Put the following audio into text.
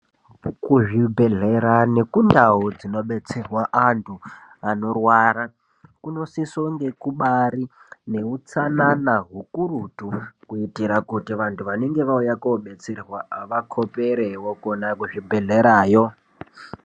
Kuzvibhedhlera nekundau dzinobetserwa antu anorwara ,kunosisonge kubaari nehutsanana hukurutu , kuitira kuti vanenge vauya kobetserwa vayani vakhoperewo kwona kuzvibhedhlerayo.